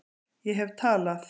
Ég hef talað